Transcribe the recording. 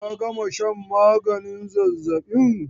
Ka gama shan maganin zazzabin!